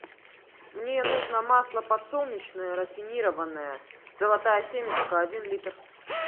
мне нужно масло подсолнечное рафинированное золотая семечка один литр